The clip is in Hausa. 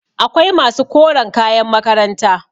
akwai masu koren kayan makaranta